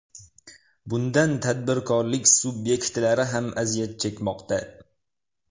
Bundan tadbirkorlik subyektlari ham aziyat chekmoqda.